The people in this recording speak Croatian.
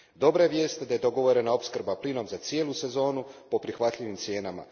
Dobra je vijest da je dogovorena opskrba plinom za cijelu sezonu po prihvatljivim cijenama.